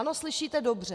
Ano, slyšíte dobře.